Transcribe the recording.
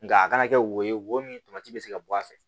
Nga a kana kɛ wo ye wo min to se ka bɔ a fɛ